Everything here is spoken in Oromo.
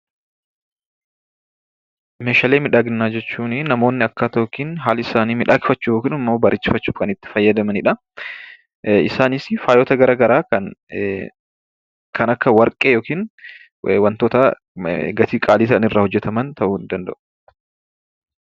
Meeshalee miidhaginaa jechuunii namoonni akkaataa yookin haala isaanii midhagfachuu yookin immoo bareechifachuuf kan itti fayyadamanidhaa. Isaanis faayota gara garaa kan kan akka warqee yookin wantoota gatii qaalii ta'an irraa kan hojjetaman ta'uu danda'u.